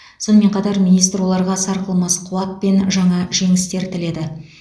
сонымен қатар министр оларға сарқылмас қуат пен жаңа жеңістер тіледі